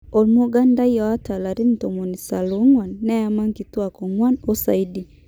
Omugandai ota larin 94 ,neyama nkituak oguan osaidi.